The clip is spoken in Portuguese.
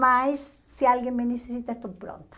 Mas, se alguém me necessita, estou pronta.